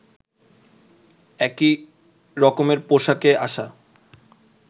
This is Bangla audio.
একই রকমের পোশাকে আসা